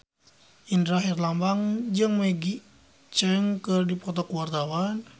Indra Herlambang jeung Maggie Cheung keur dipoto ku wartawan